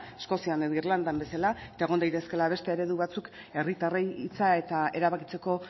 eskozian edo irlandan bezala eta egon daitezkeela beste eredu batzuk herritarrei hitza eta erabakitzeko